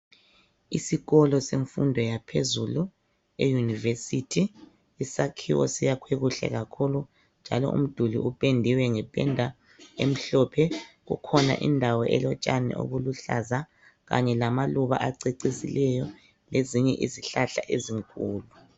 Isikolo semfundo yaphezulu euniversity . Isakhiwo siyakhwe kuhle kakhulu njalo umduli upendiwe nge penda emhlophe .Kukhona indawo elotshani obuluhlaza Kanye lama luba acecisileyo .Lezinye izihlahla ezinkulu ..